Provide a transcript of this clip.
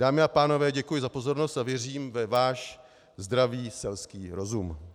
Dámy a pánové, děkuji za pozornost a věřím ve váš zdravý selský rozum.